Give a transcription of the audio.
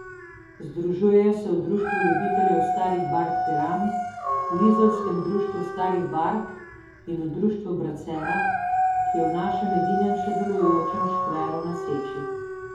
Združujejo se v Društvu ljubiteljev starih bark Piran, v izolskem društvu starih bark in v Društvu Bracera, ki je v našem edinem še delujočem škveru na Seči.